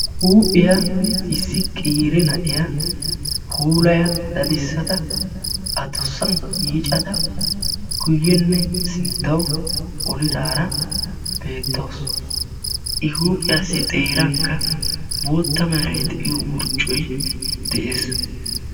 Huuphiya issi qeeri na7iya puulaya dadissada adussan yiicada guyyenne sinttawu olidaara beettawus. I huuphiyaassi xeeranikka bootta merayi de7iyo wurccoyi de7es.